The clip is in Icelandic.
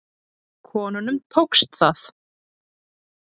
Konunum tókst það.